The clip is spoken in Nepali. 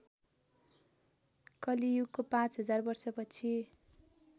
कलियुगको पाँचहजार वर्षपछि